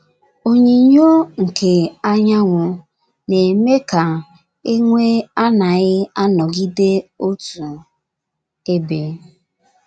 Onyinyo nke anyanwụ na - eme ka e nwee anaghị anọgide otu ebe.